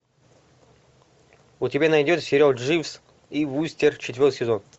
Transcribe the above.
у тебя найдется сериал дживс и вустер четвертый сезон